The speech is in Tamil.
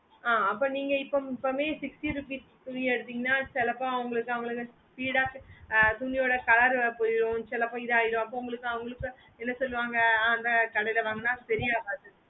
ஆஹ் அப்போ இப்போ சொன்னிங்க sixty rupees துணி எடுத்திங்கனா சிலைபோம் உங்களுக்கு அவங்களுக்கு speed ஆஹ் துணியோட color போய்டும் சில அப்போ இது ஆய்டும் அப்போ உங்களுக்கு அவங்களுக்கு என்ன சொல்லுவாங்க ஆஹ் அந்த கடைல வாங்குன செரியாவது